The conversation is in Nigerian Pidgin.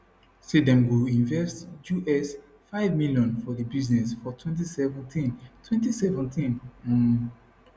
say dem go invest us5 million for di business for 2017 2017 um